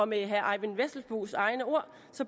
med herre eyvind vesselbos egne ord